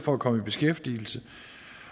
for at komme i beskæftigelse